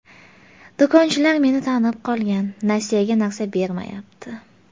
Do‘konchilar meni tanib qolgan, nasiyaga narsa bermayapti.